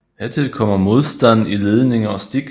Hertil kommer modstanden i ledninger og stik